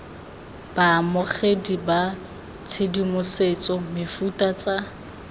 baamogedi ba tshedimosetso mefuta tsa